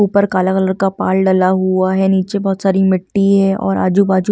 ऊपर काला कलर का पाल डला हुआ है नीचे बहुत सारी मिट्टी है और आजू बाजू हरे भरे--